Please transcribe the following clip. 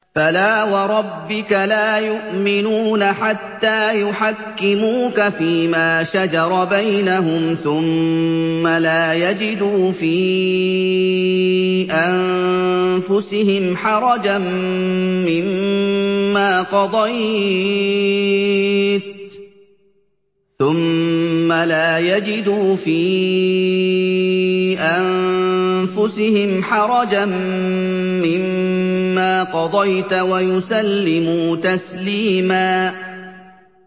فَلَا وَرَبِّكَ لَا يُؤْمِنُونَ حَتَّىٰ يُحَكِّمُوكَ فِيمَا شَجَرَ بَيْنَهُمْ ثُمَّ لَا يَجِدُوا فِي أَنفُسِهِمْ حَرَجًا مِّمَّا قَضَيْتَ وَيُسَلِّمُوا تَسْلِيمًا